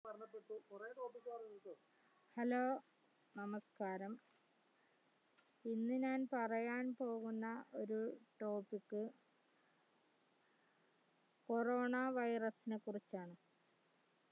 hello നമസ്കാരം ഇന്ന് ഞാൻ പറയാൻ പോകുന്ന ഒരു topiccorona virus ഇനെ കുറിച്ചാണ്